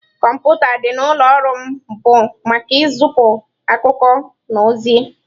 Kọmputa dị n'ụlọ ọrụ m bụ maka izipu akụkọ na ozi-e.